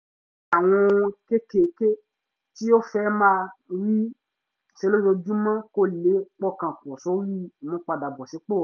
ó ṣe àwọn ohun kéékèèké tí ó fẹ́ máa máa rí ṣe lójoojúmọ́ kó lè pọkàn pọ̀ sórí ìmúpadàbọ̀sípò rẹ̀